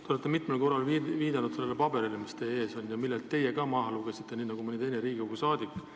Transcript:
Te olete mitmel korral viidanud sellele dokumendile, mis teie ees on ja millelt teie ka maha lugesite, nii nagu mõni teine Riigikogu saadik oma paberilt.